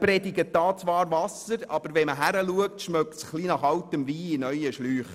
Man predigt hier zwar Wasser, aber wenn man genau hinschaut, riecht es eher nach altem Wein in neuen Schläuchen.